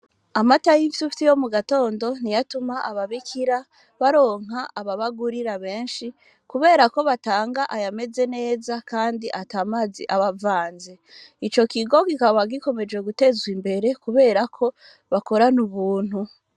Amata y'imfyufyu yo mu gatondo, niyo atuma ababikira baronka ababagurira benshi, kubera ko batanga ayameze neza kandi ata mazi aba avanze; ico kigo kikaba gikomeje gutezwa imbere kubera ko bakorana ubuntu.